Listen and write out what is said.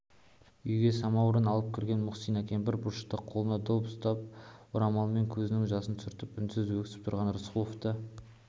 үйге самауыр алып кірген мұхсина кемпір бұрышта қолына доп ұстап орамалмен көзінің жасын сүртіп үнсіз өксіп тұрған рысқұловты